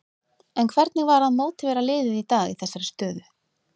En hvernig var að mótivera liðið í dag í þessari stöðu?